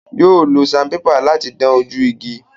Yóò lo sanpépà láti dán ojú igi.